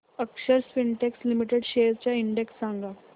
अक्षर Spintex limited shares चा index सांगा